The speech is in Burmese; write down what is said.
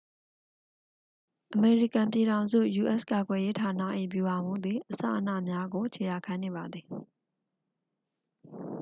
အမေရိကန်ပြည်ထောင်စု ယူအက်စ်ကာကွယ်ရေးဌာန၏ ဗျူဟာမှူးသည် အစအနများကို ခြေရာခံနေပါသည်